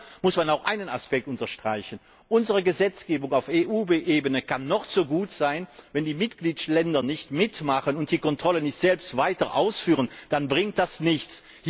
Aber hier muss man auch einen weiteren Aspekt unterstreichen Unsere Gesetzgebung auf EU Ebene kann noch so gut sein, wenn die Mitgliedstaaten nicht mitmachen und die Kontrolle nicht selbst durchführen, dann bringt das nichts.